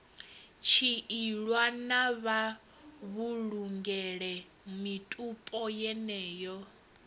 tshiilwa na mavhulungele mitupo yeneyo